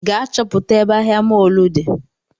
Gaa chọpụta ebe ahịa mọlụ di